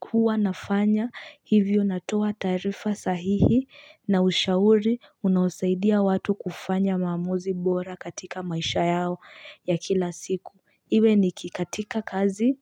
huwa nafanya hivyo natoa taarifa sahihi na ushauri unaosaidia watu kufanya maamuzi bora katika maisha yao ya kila siku. Iwe ni kikatika kazi,